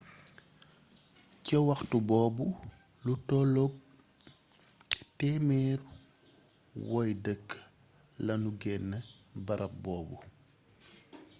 ca waxtu boobu lu tolloog 100 woy dëkk lanu genee barab boobu